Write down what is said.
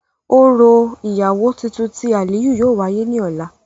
Orọ iyawo tuntun ti Aliyu yóò wáyè ni ọla.